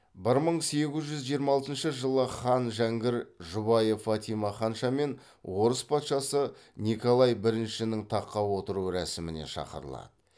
бір мың сегіз жүз жиырма алтыншы жылы хан жәңгір жұбайы фатима ханшамен орыс патшасы николай біріншінің таққа отыру рәсіміне шақырылады